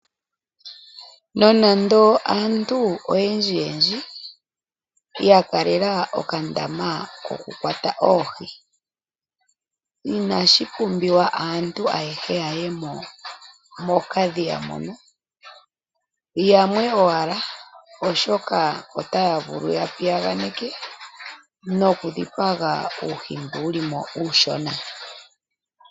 Nonando aantu oyendji yendji ya kalela okandama kokukwata oohi, inashi pumbiwa aantu ayehe ya ye mo mokadhiya mono. Yamwe owala oshoka otaya vulu ya piyaganeke nokudhipaga uuhi mboka wuli mo uushona.